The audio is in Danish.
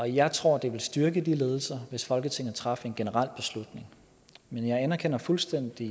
jeg tror at det ville styrke de ledelser hvis folketinget traf en generel beslutning men jeg anerkender fuldstændig